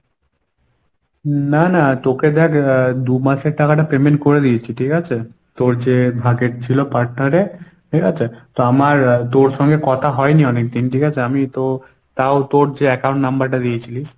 না না তোকে দেখ আহ দুমাসের টাকাটা payment করে দিয়েছি ঠিক আছে। তোর যে ভাগের ছিল partner এ ঠিকাছে তো আমার তোর সঙ্গে কথা হয়নি অনেকদিন ঠিকাছে আমি তো তাও তোর যে account number টা দিয়েছিলিস